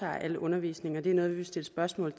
al undervisningen og det er noget vi vil stille spørgsmål